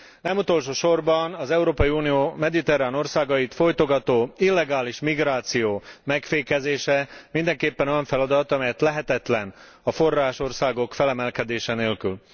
Nem utolsó sorban az Európai Unió mediterrán országait fojtogató illegális migráció megfékezése mindenképpen olyan feladat, amely lehetetlen a forrásországok felemelkedése nélkül.